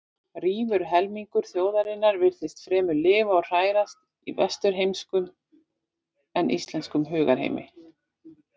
Rífur helmingur þjóðarinnar virtist fremur lifa og hrærast í vesturheimskum en íslenskum hugarheimi.